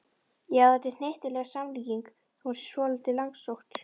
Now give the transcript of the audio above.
Já, þetta er hnyttileg samlíking þó hún sé svolítið langsótt.